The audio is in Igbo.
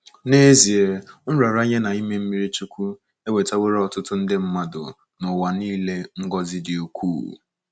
N’ezie, nraranye na ime mmiri chukwu ewetaworo ọtụtụ nde mmadụ n’ụwa nile ngọzi dị ukwuu.